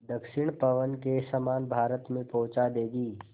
दक्षिण पवन के समान भारत में पहुँचा देंगी